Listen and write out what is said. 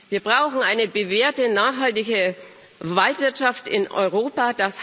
Wir brauchen eine bewährte nachhaltige Waldwirtschaft in Europa.